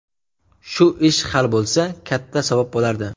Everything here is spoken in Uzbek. Shu ish hal bo‘lsa, katta savob bo‘lardi.